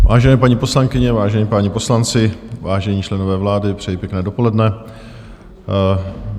Vážené paní poslankyně, vážení páni poslanci, vážení členové vlády, přeji pěkné dopoledne.